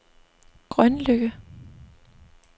Grønløkke